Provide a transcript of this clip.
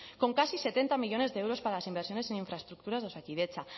con casi setenta millónes de euros para inversiones en infraestructuras de osakidetza